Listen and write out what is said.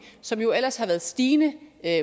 som jo ellers har været stigende